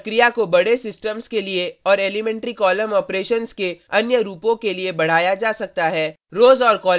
इस प्रक्रिया को बड़े सिस्टम्स के लिए और एलीमेंट्री कॉलम ऑपरेशन्स के अन्य रूपों के लिए बढ़ाया जा सकता है